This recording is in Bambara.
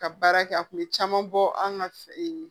Ka baara kɛ a kun bɛ caman bɔ an ka